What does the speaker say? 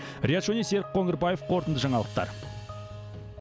риат шони серік қоңырбаев қорытынды жаңалықтар